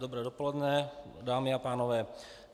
Dobré dopoledne dámy a pánové.